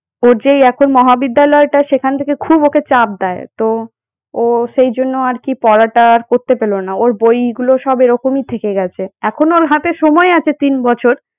ওর যে এই এখন মহাবিদ্যালয়টা সেখান থেকে খুব ওকে চাপ দেয়। তো ও সেই জন্য আর কি পড়াটা আর করতে পেল না ওর বইগুলো সব এরকমই থেকে গেছে এখনো ওর কাছে সময় আছে তিন বছর।